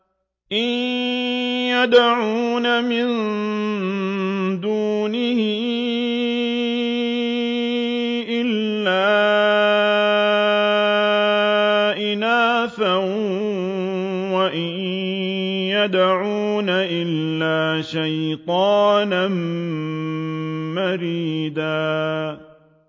إِن يَدْعُونَ مِن دُونِهِ إِلَّا إِنَاثًا وَإِن يَدْعُونَ إِلَّا شَيْطَانًا مَّرِيدًا